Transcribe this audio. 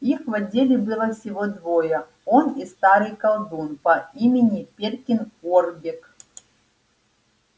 их в отделе было всего двое он и старый колдун по имени перкин уорбек